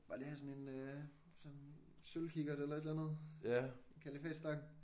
Bare lige have sådan en øh sådan sølvkikkert eller et eller andet en kalifatstang